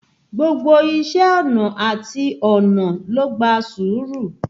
Gbogbo iṣé ọnà àti ọnà ló gba sùúrù.